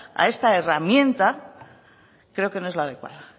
a esta herramienta creo que no es la adecuada